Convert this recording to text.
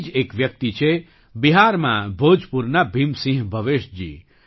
આવી જ એક વ્યક્તિ છે બિહારમાં ભોજપુરના ભીમસિંહ ભવેશજી